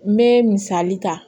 N bɛ misali ta